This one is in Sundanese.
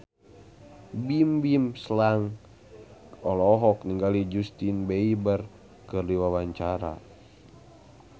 Bimbim Slank olohok ningali Justin Beiber keur diwawancara